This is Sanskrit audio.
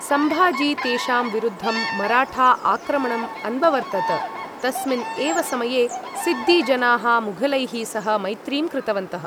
सम्भाजी तेषां विरुद्धं मराठा आक्रमणं अन्ववर्तत, तस्मिन् एव समये सिद्दी जनाः मुघलैः सह मैत्रीं कृतवन्तः।